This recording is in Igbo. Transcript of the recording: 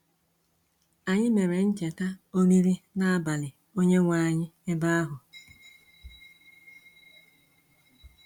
Anyị mere ncheta Oriri N’abalị Onye-nwe anyị ebe ahụ.